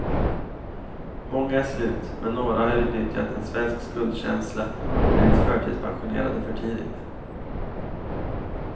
Många är slut, men några har utnyttjat en svensk skuldkänsla och blivit förtidspensionerade för tidigt.